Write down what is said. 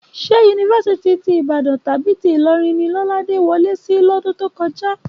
Ṣé yunifásítì ti Ìbàdàn tàbí tí Ìlọrin ni Lọ́ládé wọlé sí lọ́dún tó kọjá?